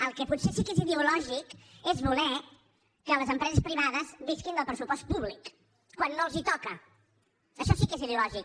el que potser sí que és ideològic és voler que les empreses privades visquin del pressupost públic quan no els toca això sí que és ideològic